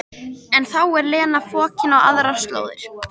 En þá er Lena fokin á aðrar slóðir.